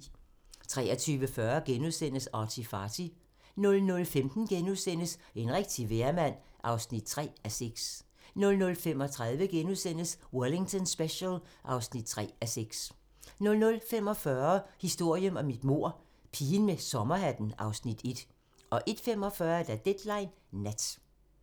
23:40: ArtyFarty * 00:15: En rigtig vejrmand (3:6)* 00:35: Wellington Special (3:6)* 00:45: Historien om et mord - Pigen med sommerhatten (Afs. 1) 01:45: Deadline Nat (tir)